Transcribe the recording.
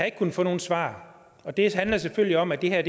ikke kunnet få nogen svar og det handler selvfølgelig om at det her